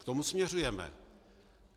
K tomu směřujeme.